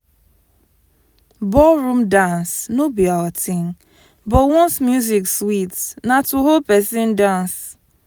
ballroom dance no be our thing but once music sweet na to hold pesin dance.